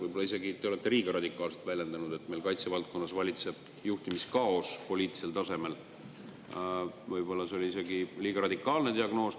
Võib-olla te olete isegi liiga radikaalselt väljendunud – see, et meil kaitsevaldkonnas valitseb juhtimiskaos poliitilisel tasemel, oli ehk isegi liiga radikaalne diagnoos.